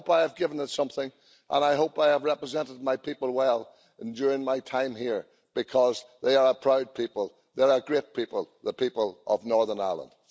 I hope I have given it something and I hope I have represented my people well during my time here because they are a proud people, they are a great people, the people of Northern Ireland.